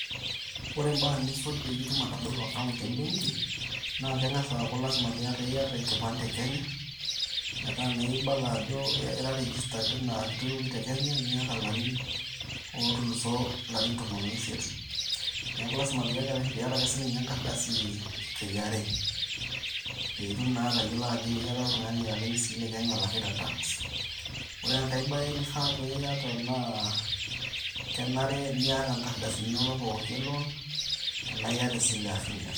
Ore imbaa nisuj pee itumoki atabolo account e benki, naa keng`as aaku lazima pee iyata iyata enkipande e Kenya, metaa naa ibala ajo ira registered teina kitoiwuoki te kenya niata larin ootuluso larin tomon oisiet. Niaku lazima pee iyata ake sii ninye enkardasi e KRA pee itum naa atayiolo ajo ira oltung`ani ake sii le Kenya olakita tax. Ore enkae bae nifaa niyata naa kenare niata nkardasini inonok pookin e loan tenaa iyata esile ashu miata.